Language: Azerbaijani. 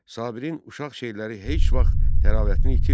Sabirin uşaq şeirləri heç vaxt təravətini itirmir.